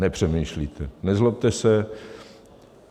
Nepřemýšlíte, nezlobte se.